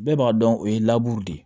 Bɛɛ b'a dɔn o ye de ye